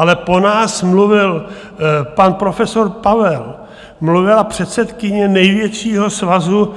Ale po nás mluvil pan profesor Pavel, mluvila předsedkyně největšího svazu